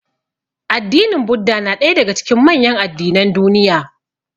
Addinin Buddah na ɗaya daga cikin manyan addinan duniya.